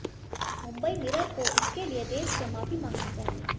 Mumbai mirror को इसके लिए देश से माफ़ी मांगनी चाहिए